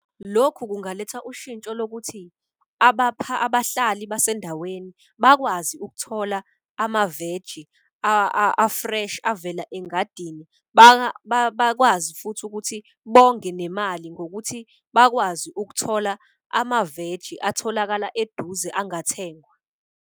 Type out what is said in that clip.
Lokhu kungaletha ushintsho lokuthi abahlali basendaweni bakwazi ukuthola amaveji a-fresh avela engadini. Bakwazi futhi ukuthi bonge nemali ngokuthi bakwazi ukuthola amaveji atholakala eduze angathengwa.